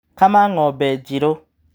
Kama ng'ombe njirũ.